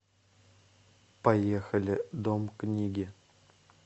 поехали дом книги